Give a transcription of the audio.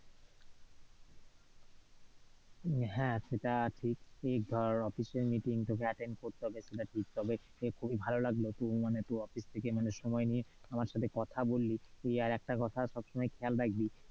হ্যাঁ, সেটা ঠিক ধর office এর meeting তোকে attend করতে হবে, সেটা ঠিক তবে খুবই ভালো লাগলো তুই মানে তুই office থেকে মানে সময় নিয়ে আমার সাথে কথা বললি। তুই আর একটা কথা সবসময় খেয়াল রাখবি